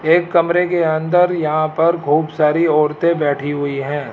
एक कमरे के अंदर यहां पर खूब सारी औरतें बैठी हुई है।